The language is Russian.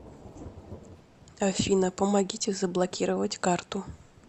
афина помогите заблокировать карту